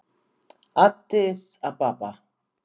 Addis Ababa